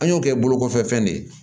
An y'o kɛ bolo kɔfɛ fɛn de ye